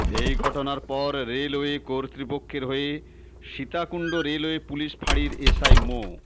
এ ঘটনার পর রেলওয়ে কর্তৃপক্ষের হয়ে সীতাকুণ্ড রেলওয়ে পুলিশ ফাঁড়ির এস আই মো